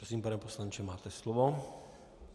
Prosím, pane poslanče, máte slovo.